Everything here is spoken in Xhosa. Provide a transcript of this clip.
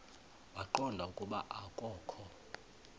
waqonda ukuba akokho